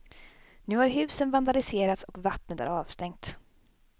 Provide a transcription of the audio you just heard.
Nu har husen vandaliserats och vattnet är avstängt.